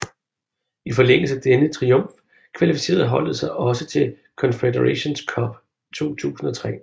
I forlængelse af denne triumf kvalificerede holdet sig også til Confederations Cup 2003